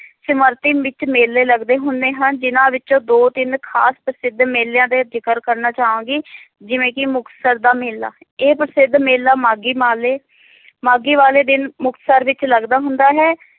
ਸਿਮਰਤੀ ਵਿਚ ਮੇਲੇ ਲੱਗਦੇ ਹੁੰਦੇ ਹਨ ਜਿੰਨਾਂ ਵਿਚ ਦੋ ਤਿੰਨ ਖਾਸ ਪ੍ਰਸਿੱਧ ਮੇਲਿਆਂ ਦੇ ਜਿਕਰ ਕਰਨਾ ਚਾਵਾਂਗੀ ਜਿਵੇ ਕਿ ਮੁਕਤਸਰ ਦਾ ਮੇਲਾ ਇਹ ਪ੍ਰਸਿੱਧ ਮੇਲਾ ਮਾਘੀ ਮਾਲੇ ਮਾਘੀ ਵਾਲੇ ਦਿਨ ਮੁਕਤਸਰ ਵਿਚ ਲੱਗਦਾ ਹੁੰਦਾ ਹੈ